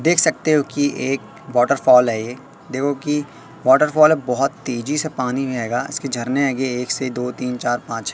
देख सकते हो कि एक वॉटरफॉल है देखो कि वॉटरफॉल बहोत तेजी से पानी आएगा इसके झरने है एक से दो तीन चार पांच--